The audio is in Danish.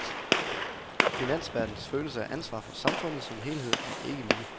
Finansverdenens følelse af ansvar for samfundet som helhed er ikke lille.